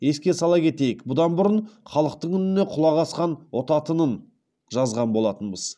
еске сала кетейік бұдан бұрын халықтың үніне құлақ асқан ұтатынын жазған болатынбыз